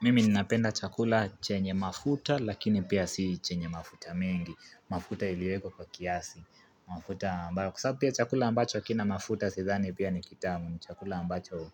Mimi ninapenda chakula chenye mafuta, lakini pia si chenye mafuta mengi, mafuta iliweko kwa kiasi, mafuta ambayo kusabia chakula ambacho hakina mafuta, si zani pia ni kitamu, ni chakula ambacho